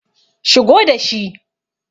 shigo da shi!